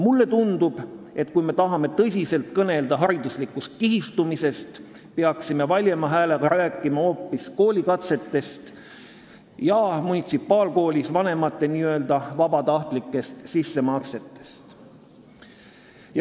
Mulle tundub, et kui me tahame tõsiselt kõnelda hariduslikust kihistumisest, peaksime valjema häälega rääkima hoopis koolikatsetest ja munitsipaalkoolis käivate laste vanemate n-ö vabatahtlikest sissemaksetest.